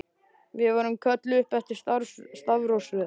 Við vorum kölluð upp eftir stafrófsröð.